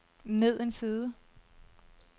ned en side